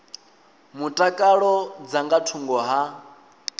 mutakalo dza nga thungo ha